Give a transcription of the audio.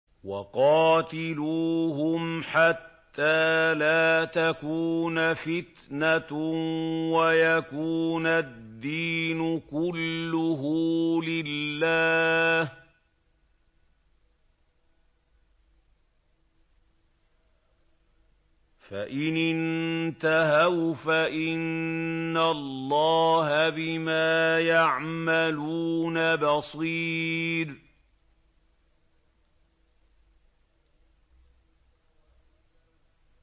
وَقَاتِلُوهُمْ حَتَّىٰ لَا تَكُونَ فِتْنَةٌ وَيَكُونَ الدِّينُ كُلُّهُ لِلَّهِ ۚ فَإِنِ انتَهَوْا فَإِنَّ اللَّهَ بِمَا يَعْمَلُونَ بَصِيرٌ